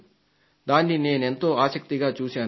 దాన్ని నేనెంతో ఆసక్తిగా చూశాను